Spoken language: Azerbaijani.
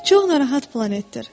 Çox narahat planetdir.